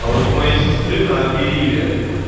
а вот у моей сестры на мериве